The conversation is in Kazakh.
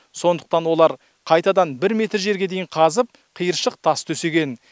сондықтан олар қайтадан бір метр жерге дейін қазып қиыршық тас төсеген